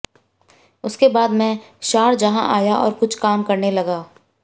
उसके बाद मैं शारजाह आया और कुछ काम करने लगा